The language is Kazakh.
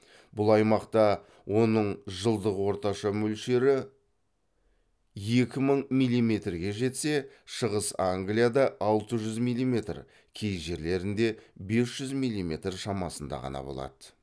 бұл аймақта оның жылдық орташа мөлшері екі мың милиметрге жетсе шығыс англияда алты жүз милиметр кей жерлерінде бес жүз милиметр шамасында ғана болады